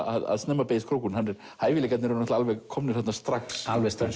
að snemma beygist krókurinn hæfileikarnir eru alveg komnir þarna strax alveg strax